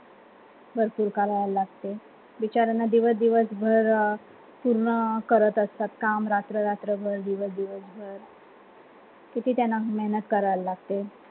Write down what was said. भरपूर गाव लागते बिचाऱ्याना दिवस दिवस भर पूर्ण करत असतात. काम रात्र रात्रभर दिवस दिवस भर किती त्यांना मेहनत करावी लागते?